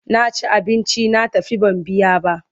Na ci abinci na tafi ban biya ba.